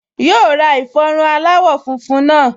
Yóò ra ìfọrun aláwọ̀ funfun náà